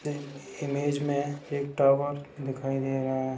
इन image में एक tower दिखाई दे रहा है।